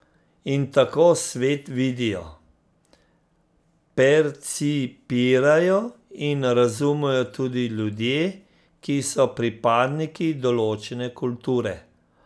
In tako svet vidijo, percipirajo in razumejo tudi ljudje, ki so pripadniki določene kulture.